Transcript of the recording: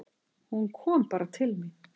Hún kom bara til mín.